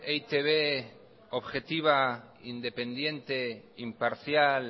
e i te be objetiva independiente imparcial